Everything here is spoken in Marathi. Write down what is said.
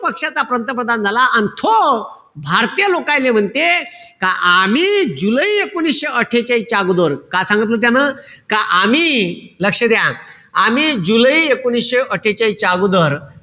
पक्षाचा पंतप्रधान झाला. अन तो भारतीय लोकाईले म्हणते का आमी जुलै एकोणीशे अट्ठेचाळीसच्या अगोदर, काय सांगितलं त्यानं? का आमी, लक्ष द्या, आमी जुलै एकोणीशे अट्ठेचाळीसच्या अगोदर,